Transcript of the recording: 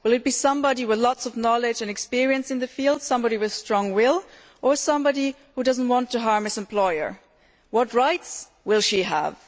Will it be somebody with lots of knowledge and experience in the field and somebody with a strong will, or somebody who does not want to harm his employer? What rights will she he have?